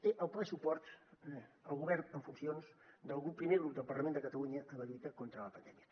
té el ple suport el govern en funcions del primer grup del parlament de catalunya en la lluita contra la pandèmia